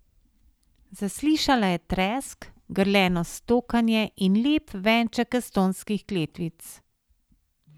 Zaslišala je tresk, grleno stokanje in lep venček estonskih kletvic.